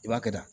I b'a kɛ da